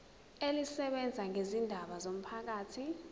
elisebenza ngezindaba zomphakathi